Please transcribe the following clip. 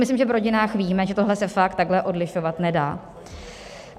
Myslím, že v rodinách víme, že tohle se fakt takhle odlišovat nedá.